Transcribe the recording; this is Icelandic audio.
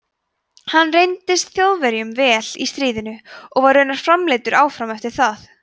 hann reyndist þjóðverjum vel í stríðinu og var raunar framleiddur áfram eftir það